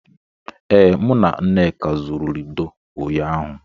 Ee, mụ na nneka zụrụ Lido ụnyaahụ.